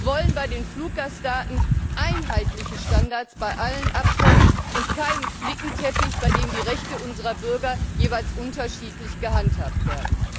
Wir wollen bei den Fluggastdaten einheitliche Standards bei allen Abkommen und keinen Flickenteppich, bei dem die Rechte unserer Bürger jeweils unterschiedlich gehandhabt werden.